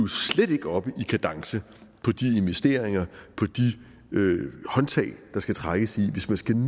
slet ikke oppe i kadence på de investeringer på de håndtag der skal trækkes i hvis man skal nå